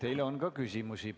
Teile on ka küsimusi.